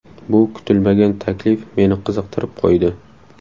Bu kutilmagan taklif meni qiziqtirib qo‘ydi.